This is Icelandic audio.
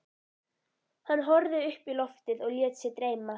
Hann horfði upp í loftið og lét sig dreyma.